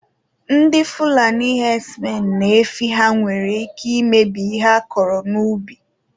Ndị fulani hedsmen na efi ha nwere ike imebi ihe akọrọ n'ubi